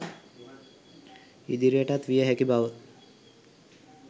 ඉදිරියටත් විය හැකි බව